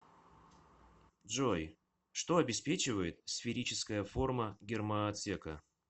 джой что обеспечивает сферическая форма гермоотсека